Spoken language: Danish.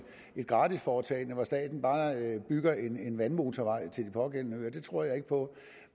et gratisforetagende hvor staten bare bygger en vandmotorvej til de pågældende øer det tror jeg ikke på